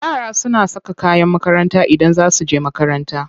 Yara suna saka kayan makaranta Idan za su je makaranta.